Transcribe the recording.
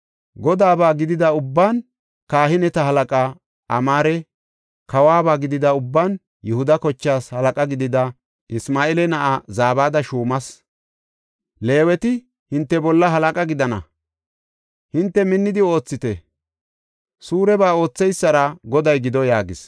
Godaaba gidida ubban kahineta halaqaa Amaare; kawoba gidida ubban Yihuda kochaas halaqa gidida Isma7eela na7aa Zabada shuumas. Leeweti hinte bolla halaqa gidana. Hinte minnidi oothite; suureba ootheysara Goday gido” yaagis.